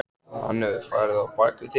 Hann hefur farið á bak við þig.